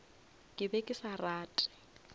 ke be ke sa rate